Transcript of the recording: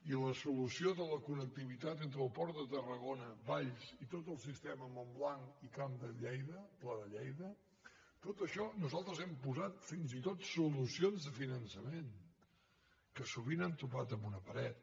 i la solució de la connectivitat entre el port de tarragona valls i tot el sistema montblanc i camp de lleida pla de lleida a tot això nosaltres hi hem posat fins i tot solucions de finançament que sovint han topat amb una paret